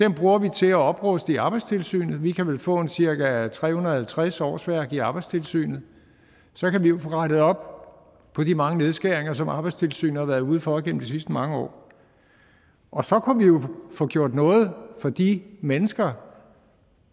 til at opruste i arbejdstilsynet vi kan vel få cirka tre hundrede og halvtreds årsværk i arbejdstilsynet så kan vi jo få rettet op på de mange nedskæringer som arbejdstilsynet har været ude for gennem de sidste mange år og så kunne vi jo få gjort noget for de mennesker